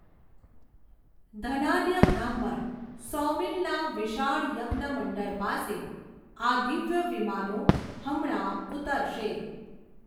ધનાઢ્ય બ્રાહ્મણ સૌમીલના વિશાળ યજ્ઞ મંડળ પાસે, આ દિવ્ય વિમાનો હમણાં ઉતરશે.